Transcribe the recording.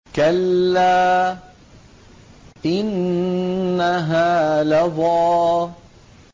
كَلَّا ۖ إِنَّهَا لَظَىٰ